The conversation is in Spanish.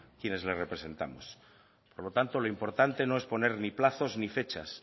quienes le representamos por lo tanto lo importante no es poner ni plazos ni fechas